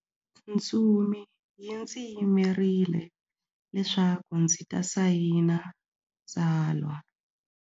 Ntsumi yi ndzi yimerile leswaku ndzi ta sayina tsalwa.